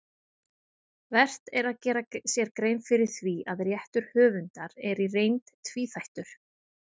Vert er að gera sér grein fyrir því að réttur höfundar er í reynd tvíþættur.